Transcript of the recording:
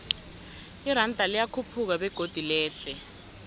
iranda liyakhuphuka begodu lehle